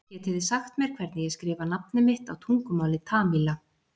Getið þið sagt mér hvernig ég skrifa nafnið mitt á tungumáli Tamíla?